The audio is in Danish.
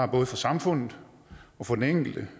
både for samfundet og for den enkelte